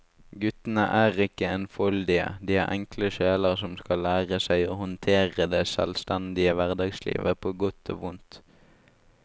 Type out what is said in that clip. Guttene er ikke enfoldige, de er enkle sjeler som skal lære seg å håndtere det selvstendige hverdagslivet på godt og vondt.